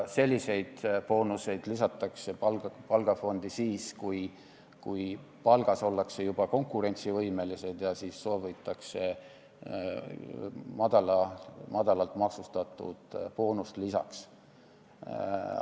Selliseid boonuseid lisatakse palgafondi siis, kui palgas ollakse juba konkurentsivõimelised, ja siis soovitakse madalalt maksustatud boonust lisaks.